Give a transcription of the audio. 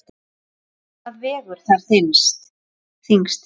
Hvað vegur þar þyngst?